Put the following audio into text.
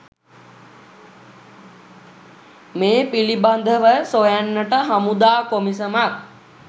මේ පිළිබඳව සොයන්නට හමුදා කොමිසමක්